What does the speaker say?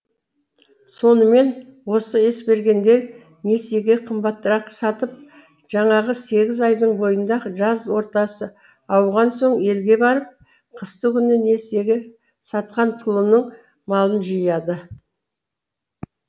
сонымен осы есбергендер несиеге қымбатырақ сатып жаңағы сегіз айдың бойында жаз ортасы ауған соң елге барып қысты күні несиеге сатқан пұлының малын жияды